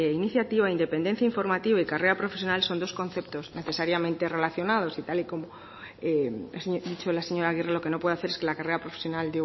iniciativa independencia informativa y carrera profesional son dos conceptos necesariamente relacionados y tal y como ha dicho la señora agirre lo que no puede hacer es que la carrera profesional